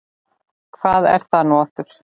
Hvað er það nú aftur?